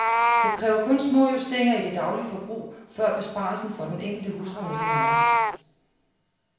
Det kræver kun små justeringer i det daglige forbrug, før besparelsen for den enkelte husholdning kan mærkes.